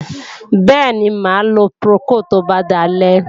Bẹ́ẹ̀ni, mà á lo Procold tó bá dalẹ́.